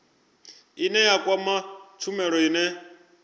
ine ya kwama tshumelo ine